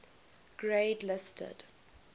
grade listed